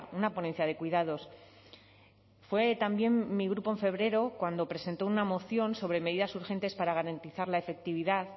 una ponencia de cuidados fue también mi grupo en febrero cuando presentó una moción sobre medidas urgentes para garantizar la efectividad